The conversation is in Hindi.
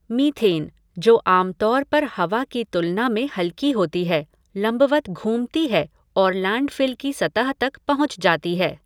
मीथेन, जो आम तौर पर हवा की तुलना में हल्की होती है, लंबवत घूमती है और लैंडफ़िल की सतह तक पहुंच जाती है।